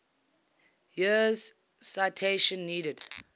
years citation needed